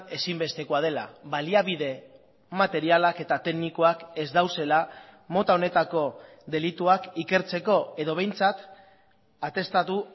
ezinbestekoa dela baliabide materialak eta teknikoak ez daudela mota honetako delituak ikertzeko edo behintzat atestatu